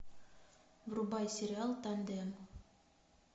врубай сериал тандем